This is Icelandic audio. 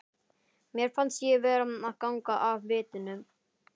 Mér fannst ég vera að ganga af vitinu.